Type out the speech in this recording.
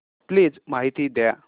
please माहिती द्या